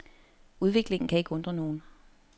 Udviklingen kan ikke undre nogen.